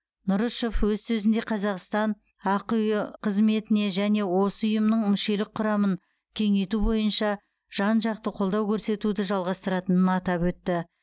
нұрышев өз сөзінде қазақстан ақиұ қызметіне және осы ұйымның мүшелік құрамын кеңейту бойынша жан жақты қолдау көрсетуді жалғастыратынын атап өтті